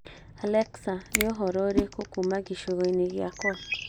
Alexa nĩ ũhoro ũrĩkũ kuuma gĩcigo-inĩ gĩkwa